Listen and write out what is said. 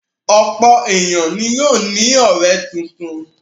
Ọ̀pọ̀ ènìyàn ni yóò ní ọ̀rẹ́ tuntun.